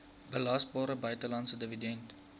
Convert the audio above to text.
belasbare buitelandse dividend